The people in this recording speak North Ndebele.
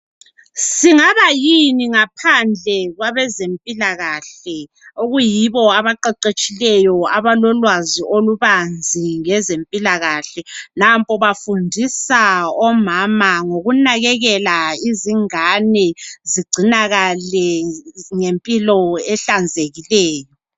Singaba yini ngaphandle kwabezempilakahle okuyibo abaqeqetshileyo abalolwazi olubanzi ngezempilakahle. Nampo bafundisa omama ngokunakekela izingane zigcinakale ngempilo ehlanzekileyo.